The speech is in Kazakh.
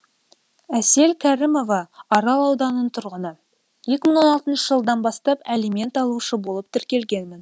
әсел кәрімова арал ауданының тұрғыны екі мың он алтыншы жылдан бастап әлимент алушы болып тіркелгенмін